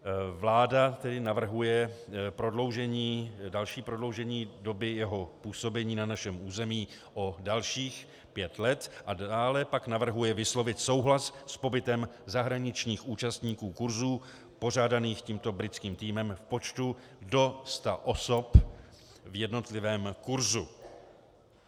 Vláda tedy navrhuje další prodloužení doby jeho působení na našem území o dalších pět let a dále pak navrhuje vyslovit souhlas s pobytem zahraničních účastníků kurzů pořádaných tímto britským týmem v počtu do 100 osob v jednotlivém kurzu.